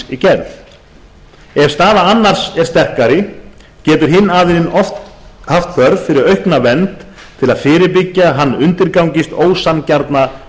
við samningsgerð ef staða annars er sterkari getur hinn aðilinn haft þörf fyrir aukna vernd til að fyrirbyggja að hann undirgangist ósanngjarna